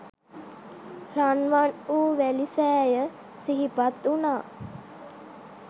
රන්වන්වූ වැලි සෑය සිහිපත් වුණා.